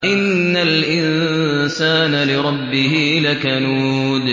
إِنَّ الْإِنسَانَ لِرَبِّهِ لَكَنُودٌ